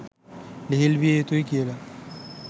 ලිහිල් විය යුතුයි කියලා.